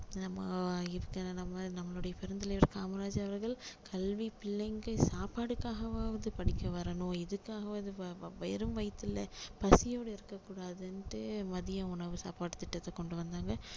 நம்ம இருக்க நம்ம நம்மளுடைய பெருந்தலைவர் காமராஜர் அவர்கள் கல்வி பிள்ளைங்க சாப்பாடுக்காகவாவது படிக்க வரணும் இதுக்காகவாவது வெறும் வயித்துல பசியோட இருக்க கூடாதுன்னுட்டு மதிய உணவு சாப்பாடு திட்டத்தை கொண்டு வந்தாங்க